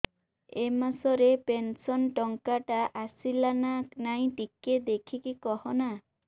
ଏ ମାସ ରେ ପେନସନ ଟଙ୍କା ଟା ଆସଲା ନା ନାଇଁ ଟିକେ ଦେଖିକି କହନା